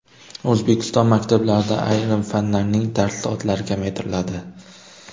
O‘zbekiston maktablarida ayrim fanlarning dars soatlari kamaytiriladi.